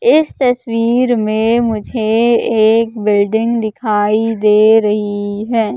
इस तस्वीर में मुझे एक बिल्डिंग दिखाई दे रही है।